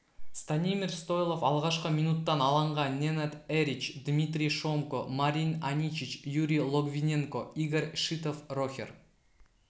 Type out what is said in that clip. станимир стойлов алғашқы минуттан алаңға ненад эрич дмитрий шомко марин аничич юрий логвиненко игорь шитов рохер